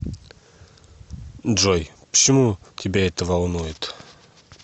джой почему тебя это волнует